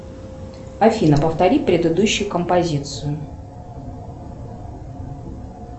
афина повтори предыдущую композицию